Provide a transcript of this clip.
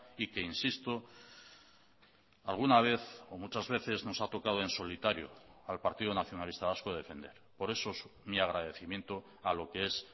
y que insisto alguna vez o muchas veces nos ha tocado en solitario al partido nacionalista vasco defender por eso mi agradecimiento a lo que es